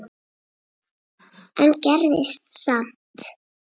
en gerðist samt.